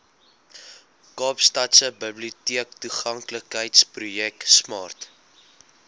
kaapstadse biblioteektoeganklikheidsprojek smart